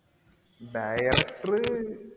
director